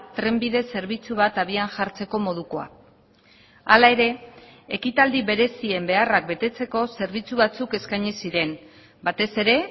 trenbide zerbitzu bat abian jartzeko modukoa hala ere ekitaldi berezien beharrak betetzeko zerbitzu batzuk eskaini ziren batez ere